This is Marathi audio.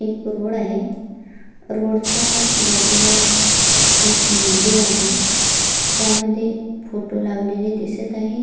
एक रोड आहे रोडच्या बाजूला एक मंदिर आहे त्यामध्ये फोटो लावलेले दिसत आहे.